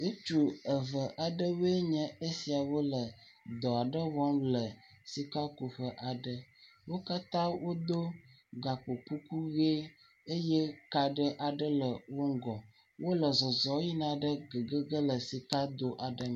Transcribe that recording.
Ŋutsu eve aɖewo nye esiawo le dɔ aɖe wɔm le sikakuƒe aɖe. Wo katã wo do gakpokuku ʋie eye ka ɖe aɖe le wo ŋgɔ. Wole zɔzɔɔ yina ɖe gugu ge ɖe sika do aɖe me.